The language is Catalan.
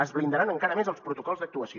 es blindaran encara més els protocols d’actuació